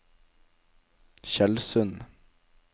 Tjeldsund